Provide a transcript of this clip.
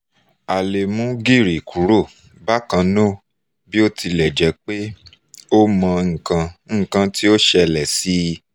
a le mu giri kuro bákan náá bó tilẹ̀ jẹ́ pé o mo ikan ikan ti o sele si